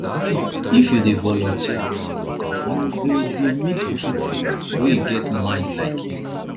if you dey voluteer you go dey meet pipu wey get mind like you